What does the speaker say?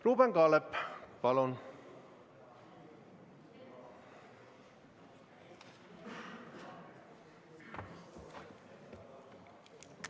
Ruuben Kaalep, palun!